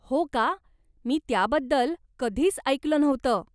हो का? मी त्याबद्दल कधीच ऐकलं नव्हतं.